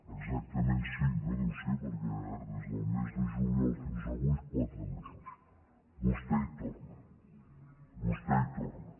exactament cinc no deu ser perquè des del mes de juliol fins avui quatre mesos vostè hi torna vostè hi torna